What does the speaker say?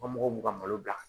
Ka mɔgɔw b'u ka malo bila